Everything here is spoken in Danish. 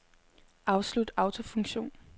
Afslut autofunktion.